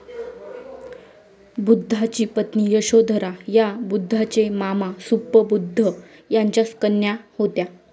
बुद्धांची पत्नी यशोधरा ह्या बुद्धांचे मामा सुप्पबुद्ध यांच्या कन्या होत्या.